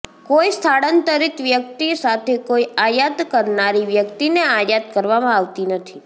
કોઈ સ્થળાંતરિત વ્યક્તિ સાથે કોઈ આયાત કરનારી વ્યક્તિને આયાત કરવામાં આવતી નથી